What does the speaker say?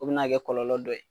U bɛ na kɛ kɔlɔlɔ dɔ ye.